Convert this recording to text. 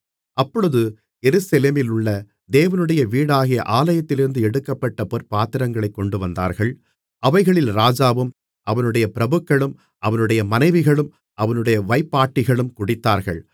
அப்பொழுது எருசலேமிலுள்ள தேவனுடைய வீடாகிய ஆலயத்திலிருந்து எடுக்கப்பட்ட பொற்பாத்திரங்களைக் கொண்டுவந்தார்கள் அவைகளில் ராஜாவும் அவனுடைய பிரபுக்களும் அவனுடைய மனைவிகளும் அவனுடைய வைப்பாட்டிகளும் குடித்தார்கள்